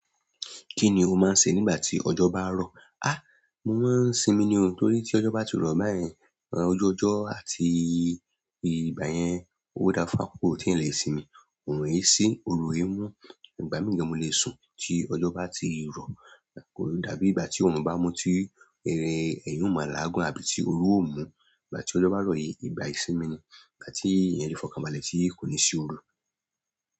Kíni o máa ń ṣe nígbà tí ọjọ́ bá rọ̀? Á! Mo máa ń sinmi ni o, torí tí ọjọ́ bá ti rọ̀ báyẹn, ọjuọjọ́ àti ìgbà yẹn, ó dáa fún àkókò tí ẹ lè sinmi, òorun olò i sí, òorun i mu. Ìgbà mìíràn ni mo lè sùn tí ọjọ́ bá ti rọ̀, dàbí ìgbà tí orun bá mú ti eré èèyàn mà lágun àbí tí oru ó mú. Ìgbà tí ọjọ́ bá rọ̀ yìí, ìgbà ìsinmi ni, ìgbà tí ẹ̀yán fi fọkàn balẹ̀, tí kò ní sí òru.